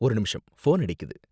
ஒரு நிமிஷம், ஃபோன் அடிக்குது.